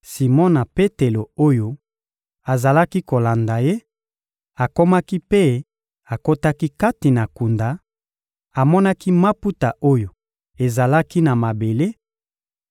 Simona Petelo oyo azalaki kolanda ye akomaki mpe akotaki kati na kunda, amonaki maputa oyo ezalaki na mabele